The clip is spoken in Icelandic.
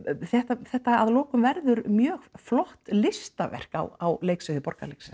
þetta þetta að lokum verður mjög flott listaverk á leiksviði Borgarleikhússins